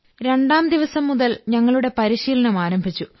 രണ്ടാം ദിവസം മുതൽ ഞങ്ങളുടെ പരിശീലനം ആരംഭിച്ചു